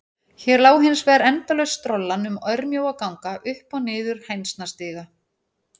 Hér lá hins vegar endalaus strollan um örmjóa ganga, upp og niður hænsnastiga.